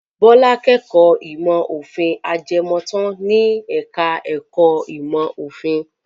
Bọ́lá kẹ́kọ̀ọ́ ìmọ̀-òfin ajẹmọ́tàn ní ẹ̀ka-ẹ̀kọ́ ìmọ̀-òfin.